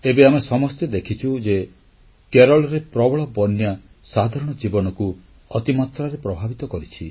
ଏବେ ଆମେ ସମସ୍ତେ ଦେଖିଛୁ ଯେ କେରଳରେ ପ୍ରବଳ ବନ୍ୟା ସାଧାରଣ ଜୀବନକୁ ଅତି ମାତ୍ରାରେ ପ୍ରଭାବିତ କରିଛି